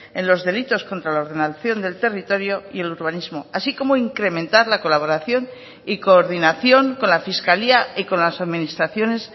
en los delitos contra la ordenación del territorio y el urbanismo así como incrementar la colaboración y coordinación con la fiscalía y con las administraciones